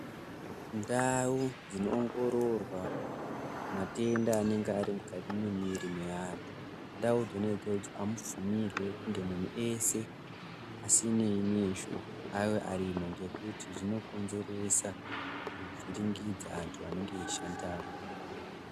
Ndau dzinoongororwa matenda anenge arimukati mwemuviri meantu ndau dzona idzodzo amubvumirwi kunge munhu ese asinei neizvo ave ariko ngekuti zvinokonzeresa kuvhiringidza antu anenge eishandamo.